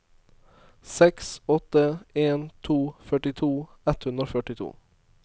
seks åtte en to førtito ett hundre og førtito